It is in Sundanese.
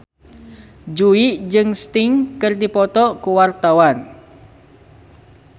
Jui jeung Sting keur dipoto ku wartawan